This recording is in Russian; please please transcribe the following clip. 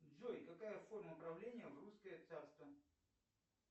джой какая форма правления в русское царство